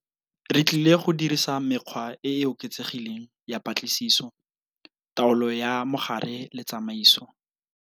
Re tlile go dirisa mekgwa e e oketsegileng ya patlisiso, taolo ya mogare le tsamaiso.